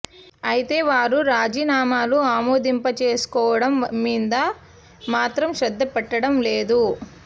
అయితే వారు రాజీనామాలు ఆమోదింపజేసుకోవడం మీద మాత్రం శ్రద్ధ పెట్టడం లేదు